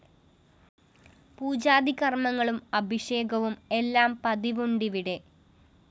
പൂജാദികര്‍മ്മങ്ങളും അഭിഷേകവും എല്ലാം പതിവുണ്ടിവിടെ